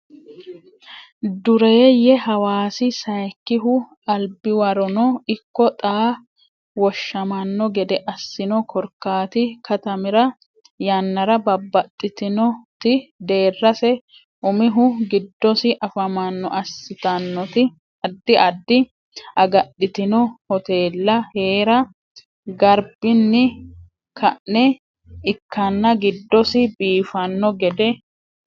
dureeyye Hawaasi Sayikkihu albiwarono ikko xaa woshshamanno gede assino korkaati katamira yannara babbaxxitinoti deerrase umihu gidoosi afamanno assitannoti addi addi agadhitino hoteella hee ra garbinni ka ne ikkanna giddosi biifanno gede.